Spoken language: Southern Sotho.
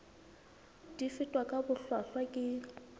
di fetwa ka bohlwahlwa ke